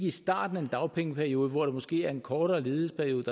i starten af en dagpengeperiode hvor der måske er en kortere ledighedsperiode